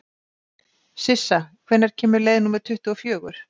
Sissa, hvenær kemur leið númer tuttugu og fjögur?